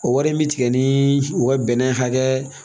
O wari in bi tigɛ ni u ka bɛnɛ hakɛ